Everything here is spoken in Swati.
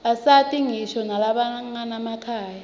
asita ngisho nalabanganamakhaya